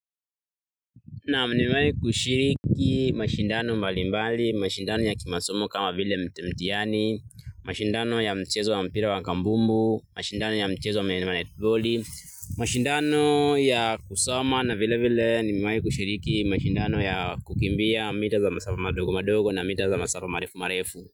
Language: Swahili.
Naam nimewahi kushiriki mashindano mbali mbali, mashindano ya kimasomo kama vile mtihani, mashindano ya mchezo wa mpira wa kambumbu, mashindano ya mchezo wa netboli, mashindano ya kusoma na vile vile, nimewahi kushiriki mashindano ya kukimbia, mita za masafa madogo madogo na mita za masafa marefu marefu.